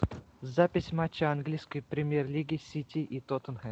запись матча английской премьер лиги сити и тоттенхэм